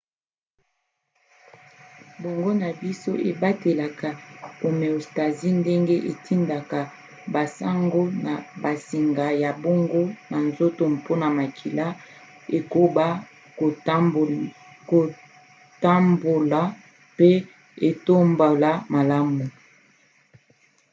boongo na biso ebatelaka homéostasie ndenge etindaka basango na bansinga ya boongo na nzoto mpona makila ekoba kotambola pe etambola malamu